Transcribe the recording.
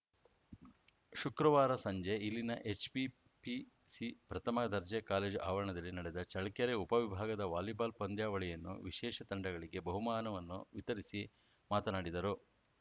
ಶುಕ್ರವಾರ ಸಂಜೆ ಇಲ್ಲಿನ ಎಚ್‌ಪಿಪಿಸಿ ಪ್ರಥಮ ದರ್ಜೆ ಕಾಲೇಜು ಆವರಣದಲ್ಲಿ ನಡೆದ ಚಳ್ಕೆರೆ ಉಪವಿಭಾಗದ ವಾಲಿಬಾಲ್‌ ಪಂದ್ಯಾವಳಿಯನ್ನು ವಿಶೇಷ ತಂಡಗಳಿಗೆ ಬಹುಮಾನವನ್ನು ವಿತರಿಸಿ ಮಾತನಾಡಿದರು